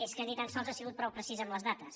és que ni tan sols ha sigut prou precisa en les dades